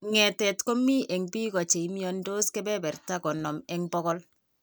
Ng'etet komi eng' biko che imiandos kebertab konom eng' bokol.